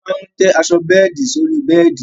A máa tẹ́ aṣọ bẹ́ẹ̀di sórí bẹ́ẹ̀di